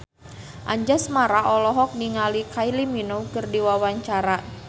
Anjasmara olohok ningali Kylie Minogue keur diwawancara